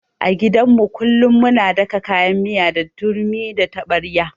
A gidan mu kullun muna daka kayan miya da turmi da taɓarya.